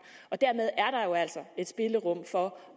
og dermed er der jo altså et spillerum for